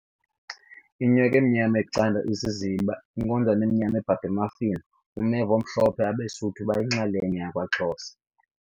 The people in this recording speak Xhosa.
Inyok' emnyam' ecand' isiziba nkonjane emnyama ebhabha emafini umeva omhlopho abeSuthu abayinxal'nye yakwa xhosa